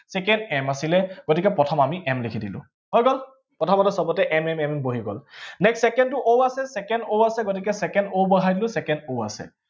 m আছিলে গতিকে প্ৰথম m লিখি দিলো, হৈ গল? প্ৰথমতে সৱতে m m m m বহি গল, next second টো o আছে, second o আছে গতিকে second o বহাই দিলো, second o আছে।